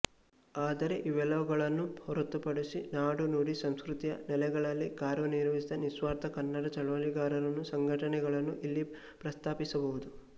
ಆದರೆ ಇವೆಲ್ಲವುಗಳನ್ನೂ ಹೊರತುಪಡಿಸಿ ನಾಡು ನುಡಿ ಸಂಸ್ಕೃತಿಯ ನೆಲೆಗಳಲ್ಲಿ ಕಾರ್ಯನಿರ್ವಹಿಸಿದ ನಿಸ್ವಾರ್ಥ ಕನ್ನಡ ಚಳವಳಿಗಾರರನ್ನು ಸಂಘಟನೆಗಳನ್ನು ಇಲ್ಲಿ ಪ್ರಸ್ತಾಪಿಸಬಹುದು